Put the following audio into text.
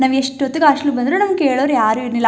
ನಾವೆಷ್ಟೋತ್ತಿಗೆ hostel ಗೆ ಬಂದ್ರು ನಮ್ಮನ್ನು ಕೇಳೋರು ಯಾರೂ ಇರ್ಲಿಲ್ಲ.